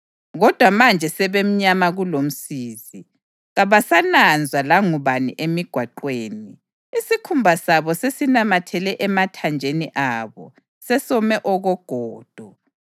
Kodwa manje sebemnyama kulomsizi; kabasananzwa langubani emigwaqweni. Isikhumba sabo sesinamathele emathanjeni abo; sesome okogodo.